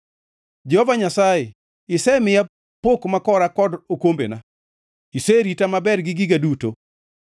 Jehova Nyasaye, isemiya pok makora kod okombena; iserita maber gi giga duto.